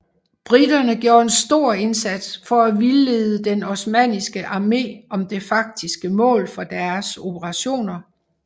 Briterne gjorde en stor indsats for at vildlede den osmanniske armé om det faktiske mål for deres operationer